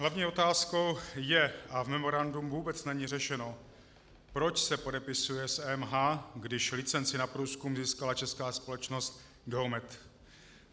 Hlavní otázkou je, a v memorandu vůbec není řešeno, proč se podepisuje s EMH, když licenci na průzkum získala česká společnost Geomet.